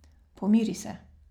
Pomiri se.